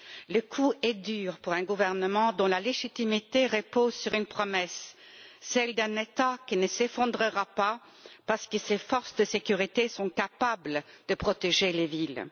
Le coup est dur pour un gouvernement dont la légitimité repose sur une promesse, celle d'un État qui ne s'effondrera pas parce que ses forces de sécurité sont capables de protéger les villes.